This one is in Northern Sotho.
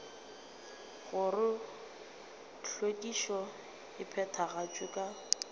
gore hlwekišo e phethagatšwa ka